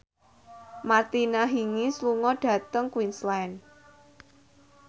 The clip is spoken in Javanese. Martina Hingis lunga dhateng Queensland